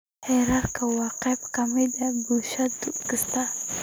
Xeerarka waa qayb ka mid ah bulsho kasta.